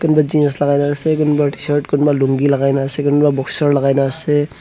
kun tu jeans lagai ke na ase kunba t shirt kunba lungi lagai ke na ase kunba boxture lagai ke na ase.